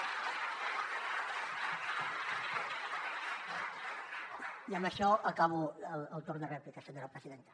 i amb això acabo el torn de rèplica senyora presidenta